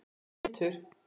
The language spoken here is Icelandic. Það var þinn litur.